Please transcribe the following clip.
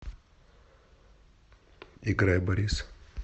играй борис